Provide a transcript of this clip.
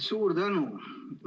Suur tänu!